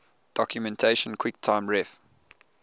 documentation quicktime ref